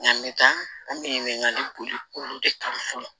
Nka mɛ taa an bɛ ɲininkali boli olu de kan fɔlɔ